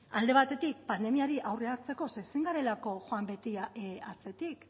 alde batetik pandemiari aurre hartzeko ze ezin garelako joan beti atzetik